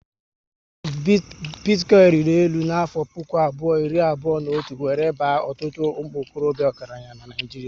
Bitikoinu riri élu na afo puku abụọ iri abụọ na otu wéré baa ọtụtụ umuokorobia ọgaranya n'Naijiria